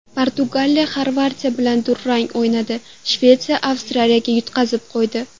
Portugaliya Xorvatiya bilan durang o‘ynadi, Shvetsiya Avstriyaga yutqazib qo‘ydi .